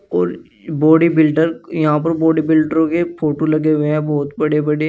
और बॉडीबिल्डर यहां पर बॉडीबिल्डरों के फोटो लगे हुए है बहुत बड़े बड़े।